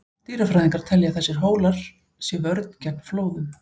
Dýrafræðingar telja að þessir hólar sé vörn gegn flóðum.